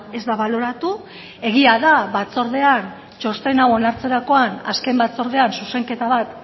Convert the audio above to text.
ez da baloratu egia da batzordean txosten hau onartzerakoan azken batzordean zuzenketa bat